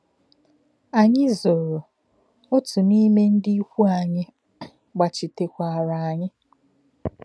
Ànyị zòrò, òtù n’ime ndị íkwù anyị gbàchítekwaara anyị.